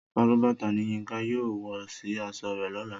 Sálúbàtà ni Yínka yóò wọ sì aṣọ rẹ̀ lọ́la